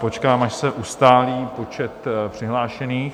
Počkám, až se ustálí počet přihlášených.